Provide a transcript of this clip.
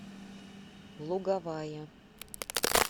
луговая